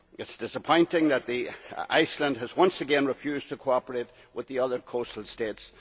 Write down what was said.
It is disappointing that Iceland has once again refused to cooperate with the other coastal states.